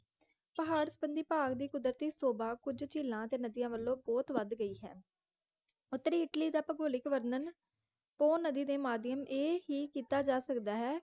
ਪਹਾੜਬੰਦੀ ਪਹਾੜ ਦੀ ਕੁਦਰਤੀ ਸ਼ੋਭਾ ਕੁਝ ਝੀਲਾਂ ਅਤੇ ਨਦੀਆਂ ਵਲੋਂ ਬੋਹੋਤ ਵੱਧ ਗਈ ਹੈ ਉਤਰੀ ਇੱਟਲੀ ਦਾ ਭੂਗੋਲਿਕ ਵਰਨਣ ਪੋਹ ਨਦੀ ਦੇ ਮਾਧਿਅਮ ਇਹ ਹੀ ਕੀਤਾ ਜਾ ਸਕਦਾ ਹੈ